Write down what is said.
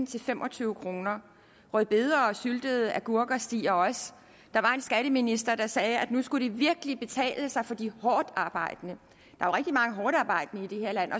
til fem og tyve kroner rødbeder og syltede agurker stiger også der var en skatteminister der sagde at nu skulle det virkelig kunne betale sig for de hårdtarbejdende i det her land